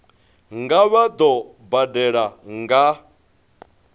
nga vha vho badela nga